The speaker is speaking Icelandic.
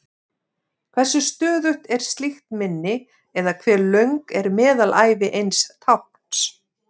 Hversu stöðugt er slíkt minni, eða hve löng er meðalævi eins tákns?